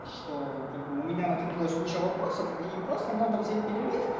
что как бы у меня накопилась куча вопросов и просто надо взять перерыв